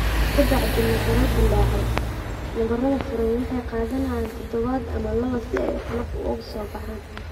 Ka bacdi nabarro dillaacay, nabarrada furan waxay qaadanayaan toddobaad ama laba si ay qolof uga soo baxaan.